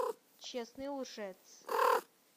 честный лжец